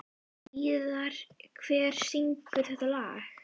Víðar, hver syngur þetta lag?